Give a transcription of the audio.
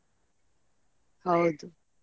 ಹೌದು.